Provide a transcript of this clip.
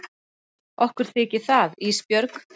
Okkur þykir það Ísbjörg.